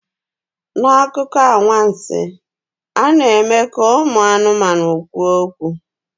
N'akụkọ anwansi, a na-eme ka ụmụ anụmanụ kwuo okwu.